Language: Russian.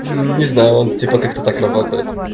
мм не знаю он типа как-то так работает